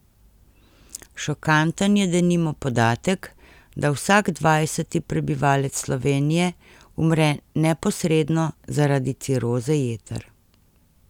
Šokanten je denimo podatek, da vsak dvajseti prebivalec Slovenije umre neposredno zaradi ciroze jeter.